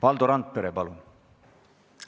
Valdo Randpere, palun!